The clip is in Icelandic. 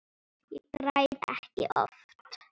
Ég græt ekki oft.